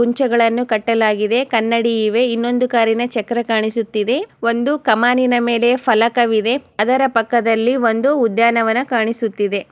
ಕುಂಚ್ಗಳನ್ನು ಕಟ್ಟಾಲಾಗಿದೆ ಕನ್ನಡಿ ಇವೆ ಇನುಂದು ಕಾರಿ ಚಕ್ರಾ ಕಾಣಿಸುತ್ತಿದೆ ಒಂದು ಕಮಾನಿನ ಮೇಲೆ ಫಲಕ ಇದೆ ಅದರ ಪಕ್ಕದ್ಲಲಿ ಒಂದು ಉದ್ಯಾನವಾನ್ ಕಾಣಿಸುತ್ತಿದೆ.